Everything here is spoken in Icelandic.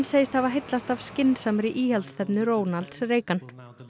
segist hafa heillast af skynsamri íhaldsstefnu Ronalds Reagan